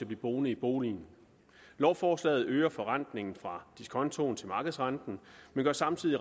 blive boende i boligen lovforslaget øger forrentningen fra diskontoen til markedsrenten men gør samtidig